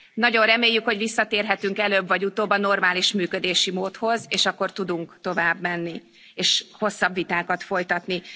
Nagyon reméljük, hogy visszatérhetünk előbb vagy utóbb a normális működési módhoz, és akkor tudunk továbbmenni, és hosszabb vitákat folytatni.